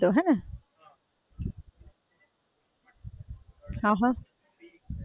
અચ્છા, એટલે અહિયાં કરવું પડતું હોય થોડું કોક વાર ફોઇ ના હોય એટલે હેને?